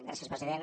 gràcies president